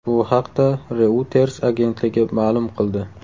Bu haqda Reuters agentligi ma’lum qildi .